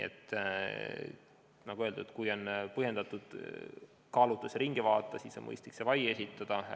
Nagu öeldud, kui on põhjendatud kaalutlus lasta otsus üle vaadata, siis on mõistlik esitada vaie.